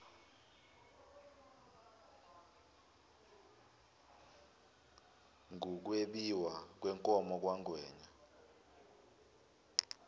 ngukwebiwa kwenkomo kamangwenya